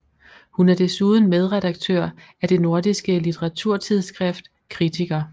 Hun er desuden medredaktør af det nordiske litteraturtidsskrift KRITIKER